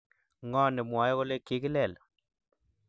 ngo nemwae kole kigilel?